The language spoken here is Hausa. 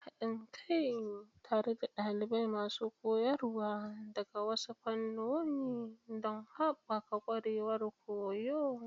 Haɗin kai tare da ɗalibai da masu koyarwa daga wasu fannoni don haɓaka ƙwarewar koyo.